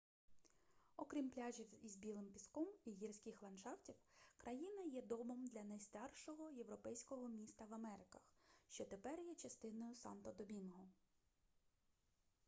окрім пляжів із білим піском і гірських ландшафтів країна є домом для найстаршого європейського міста в америках що тепер є частиною санто-домінго